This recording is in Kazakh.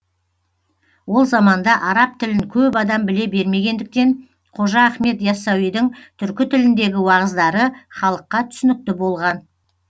ол заманда араб тілін көп адам біле бермегендіктен қожа ахмет ясауидің түркі тіліндегі уағыздары халыққа түсінікті болған